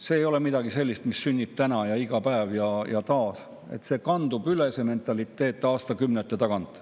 See ei ole midagi sellist, mis sünnib täna ja iga päev ja taas, see mentaliteet kandub edasi aastakümnete tagant.